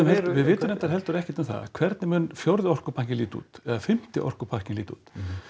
við vitum reyndar heldur ekkert um það hvernig mun fjórði orkupakkinn líta út eða fimmti orkupakkinn líta út